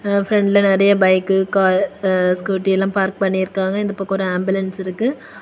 அ ஃப்ரண்ட்ல நெறய bike car அ ஸ்கூட்டி எல்லா பார்க் பண்ணிருக்காங்க. இந்த பக்கம் ஒரு ஆம்புலன்ஸ் இருக்கு.